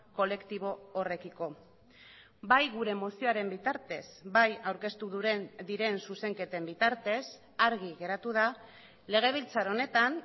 kolektibo horrekiko bai gure mozioaren bitartez bai aurkeztu diren zuzenketen bitartez argi geratu da legebiltzar honetan